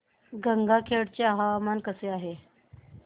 गंगाखेड चे हवामान कसे आहे